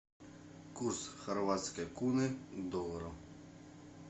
курс хорватской куны к доллару